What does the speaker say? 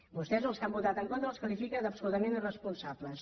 vostès els que han votat en contra els qualifica d’absolutament irresponsables